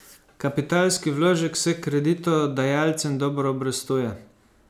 Kapitalski vložek se kreditodajalcem dobro obrestuje.